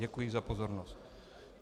Děkuji za pozornost.